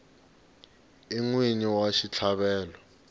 i n wini wa xitlhavelo